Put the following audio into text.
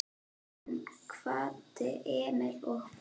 Hún kvaddi Emil og fór.